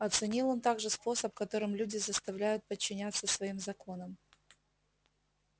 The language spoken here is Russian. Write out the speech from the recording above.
оценил он также способ которым люди заставляю подчиняться своим законам